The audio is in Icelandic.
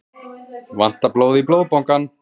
Vantar blóð í Blóðbankann